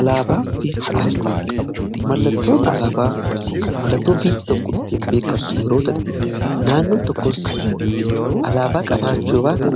alaabaa fi aasxaa mallatoo alaabaa mallattoo biyyi tokko ittiin beekamtu yeroo tahu naannoon tokkos alaabaa qabaachuu yoo baate